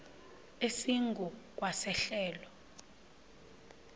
esingu kwa sehlelo